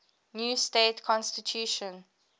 new state constitution